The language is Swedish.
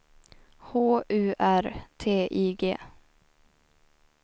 H U R T I G